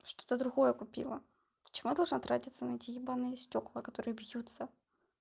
что-то другое купила почему я должна тратиться на эти ебанные стекла которые бьются